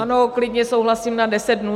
Ano, klidně souhlasím na 10 dnů.